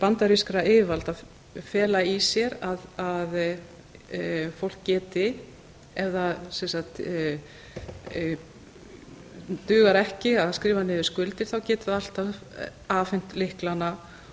bandarískra yfirvalda fela í sér að fólk geti ef það dugar ekki að skrifa niður skuldir geti það alltaf afhent lyklana